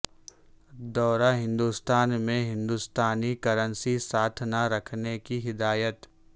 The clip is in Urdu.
دورہ ہندوستان میں ہندوستانی کرنسی ساتھ نہ رکھنے کی ہدایت